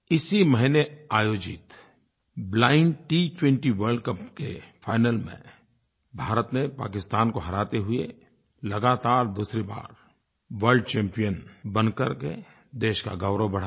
इसी महीने आयोजित ब्लाइंड T20 वर्ल्ड कप के फाइनल में भारत ने पाकिस्तान को हराते हुए लगातार दूसरी बार वर्ल्ड चैम्पियन बन करके देश का गौरव बढ़ाया